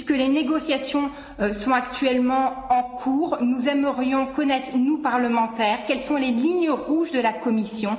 Puisque les négociations sont actuellement en cours, nous aimerions connaître, nous parlementaires, quelles sont les lignes rouges de la Commission?